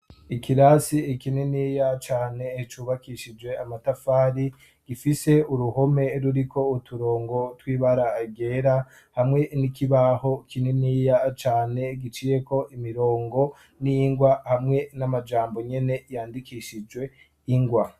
Ikirasi kininiya cane cubakishije amatafari gifise uruhome ruriko uturongo tw'ibara ryera hamwe n'ikibaho kininiya cane giciyeko imirongo n'ingwa hamwe n'amajambo nyene yandikishijwe ingwa.